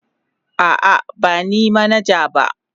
A'a, ba ni manaja ba.